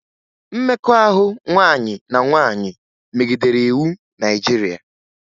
Mmekọahụ nwaanyị na nwaanyị megidere iwu Naịjirịa